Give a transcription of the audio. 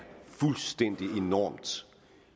fuldstændig enormt